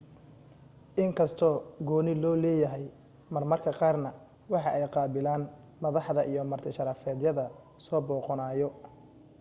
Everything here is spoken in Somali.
inkastoo gooni loo leeyahay mar marka qaar waxa ay qaabilan madaxda iyo marti sharafyada soo booqanayo